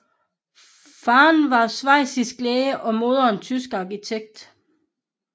Faderen var schweizisk læge og moderen tysk arkitekt